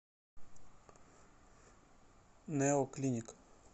нэо клиник